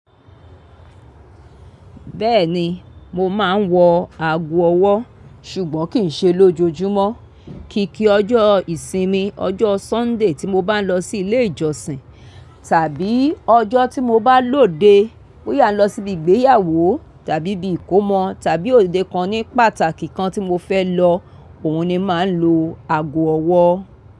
Bẹ́ẹ̀ni, mo máa ń wọ ago ọwọ́ ṣùgbọ́n kì í ṣe lójoojúmọ́. Kìkì ọjọ́ ìsinmi, ọjọ́ Sunday tí mo bá ń lọ sí ilé ìjọsìn tàbí ọjọ́ tí mo bá lòde bóyá a lọ síbi ìgbéyàwó tàbí bi ìkómọ tàbí òde kan ní pàtàkì kan tí mo fẹ́ lọ, òun ni màá ń lo ago ọwọ́